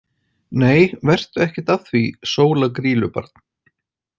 Nei vertu ekkert að því Sóla Grýlubarn.